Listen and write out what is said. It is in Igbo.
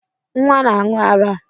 Nnwa na-aṅụ ara